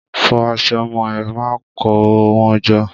Fọ aṣọ ọmọ ẹ. Má kó wọn jọ!